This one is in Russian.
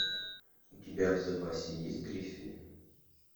у тебя в запасе есть гриффины